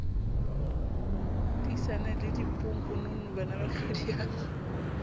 disane le bodiponkonono banaba hlodiyang